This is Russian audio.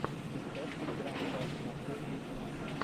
рецепт драм пад машин ютюб